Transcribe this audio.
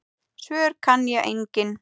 Svör kann ég engin.